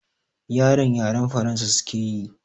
Yaran yaren Faransa suke yi